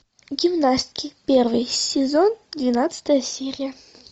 гимнастки первый сезон двенадцатая серия